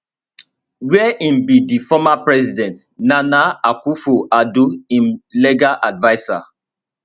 wia im be di former president nana akufoaddo im legal advisor